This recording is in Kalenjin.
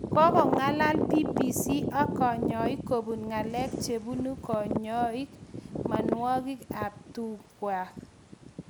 Kakong'alalsa BBC ak kanyoik kobun ng'alek chebune konyoi mianwagik ab tung'wek